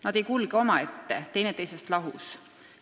Need ei kulge omaette, teineteisest lahus.